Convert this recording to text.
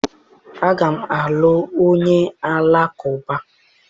Aga m alụ onye Alakụba